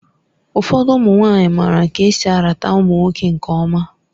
Ụfọdụ ụmụ nwanyị maara ka esi arata ụmụ nwoke nke ọma